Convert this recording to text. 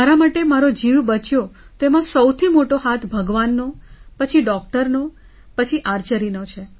મારા માટે મારો જીવ બચ્યો તો એમાં સૌથી મોટો હાથ ભગવાનનો પછી ડૉક્ટરનો પછી Archeryનો